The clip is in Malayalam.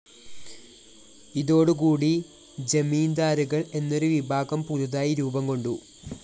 ഇതോടു കൂടി ജമീന്ദാരുകള്‍ എന്നൊരു വിഭാഗം പുതുതായി രൂപം കൊണ്ടു